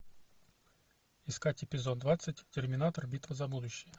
искать эпизод двадцать терминатор битва за будущее